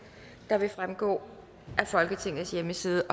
der vil fremgå af folketingets hjemmeside